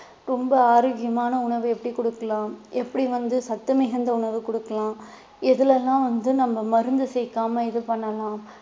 ரொம்ப ஆரோக்கியமான உணவு எப்படி கொடுக்கலாம் எப்படி வந்து சத்து மிகுந்த உணவு கொடுக்கலாம் எதுல எல்லாம் வந்து நம்ம மருந்து சேர்க்காமல் இது பண்ணலாம்